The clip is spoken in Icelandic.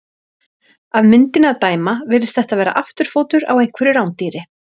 Af myndinni að dæma virðist þetta vera afturfótur á einhverju rándýri.